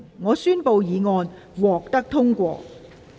我宣布議案獲得通過。